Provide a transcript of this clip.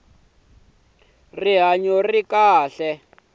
xa swa rihanyo xa khale